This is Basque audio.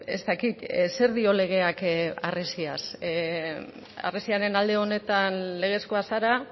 ez dakit zer dio legeak harresiaz harresiaren alde honetan legezkoa zara